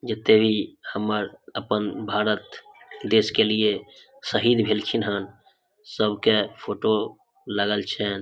जे देवी हमर अपन भारत देश के लिए शहीद भेल खिन्ह हेय सब के फोटो लगल छैन।